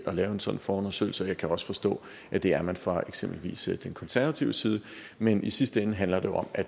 lave en sådan forundersøgelse og jeg kan også forstå at det er man fra eksempelvis de konservatives side men i sidste ende handler det om at